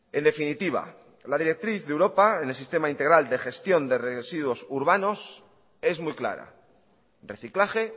en definitiva la directriz de europa en el sistema integral de gestión de residuos urbanos es muy clara reciclaje